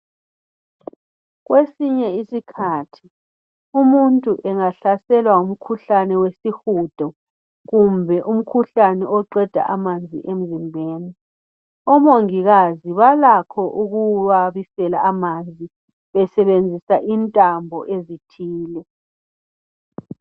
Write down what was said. Kwesinye isikhathi, umuntu angasahlelwa ngumkhuhlane wesihudo kumbe umkhuhlane oqeda amanzi emzimbeni, omungikazi balakho ukuwabisela amanzi besebenzisa intanbo ezithile.